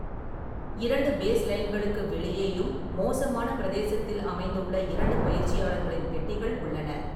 இரண்டு பேஸ்லைன்களுக்கு வெளியேயும் மோசமான பிரதேசத்தில் அமைந்துள்ள இரண்டு பயிற்சியாளர்களின் பெட்டிகள் உள்ளன.